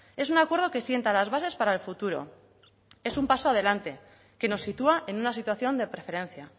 es un acuerdo que sienta las bases para el futuro es un paso adelante que nos sitúa en una situación de preferencia